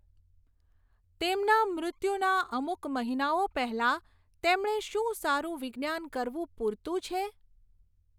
તેમના મૃત્યુના અમુક મહિનાઓ પહેલાં, તેમણે શું સારું વિજ્ઞાન કરવું પૂરતું છે?